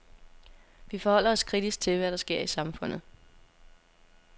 Vi forholder os kritisk til, hvad der sker i samfundet.